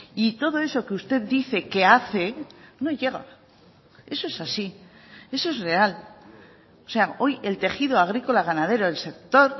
y todo eso que usted dice que hace no llega eso es así eso es real o sea hoy el tejido agrícola ganadero el sector